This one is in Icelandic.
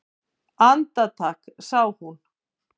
Andartak sá hún